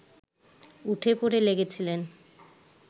উঠে পড়ে লেগেছিলেন